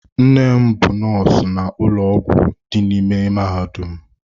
Nne m bụ nọọsụ na ụlọ ọgwụ dị n'ime mahadum.